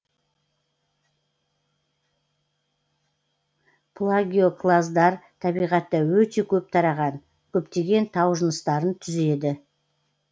плагиоклаздар табиғатта өте көп тараған көптеген тау жыныстарын түзеді